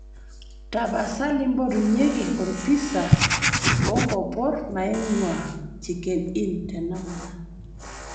tapasali mpotunyieki orpisa o nkopor naing'ua chicken inn tenakata